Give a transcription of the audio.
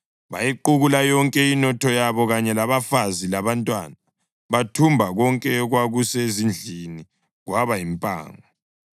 Bayiqukula yonke inotho yabo kanye labafazi labantwana, bathumba konke okwakusezindlini kwaba yimpango.